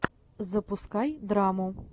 запускай драму